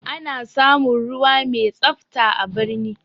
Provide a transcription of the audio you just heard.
Ana samun ruwa mai tsafta a birni